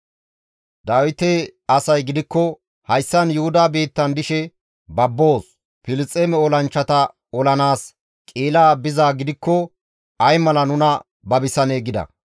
Dawite asay gidikko, «Hayssan Yuhuda biittan dishe babboos; Filisxeeme olanchchata olanaas Qi7ila bizaa gidikko ay mala nuna babisanee?» gida.